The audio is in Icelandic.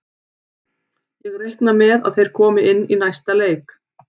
Ég reikna með að þeir komi inn í næsta leik.